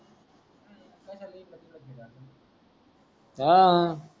हवं